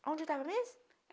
Onde eu estava mesmo?